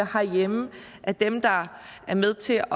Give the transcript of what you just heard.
herhjemme at dem der er med til